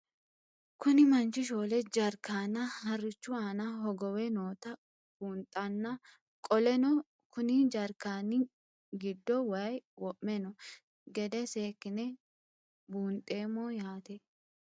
Kuni manchi shoole jaarikanna harichu aana hogowe nootae bundhana qoleno kunni jarkanni gido wayi wo'me noo gede sekine bundhemo yaate?